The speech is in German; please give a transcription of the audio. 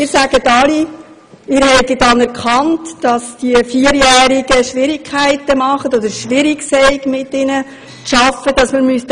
Sie sagen alle, Sie hätten erkannt, dass es mit den vierjährigen KindergartenKindern Schwierigkeiten gäbe, und dass man ihnen helfen müsse.